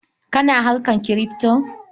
Kana harkar kirifto?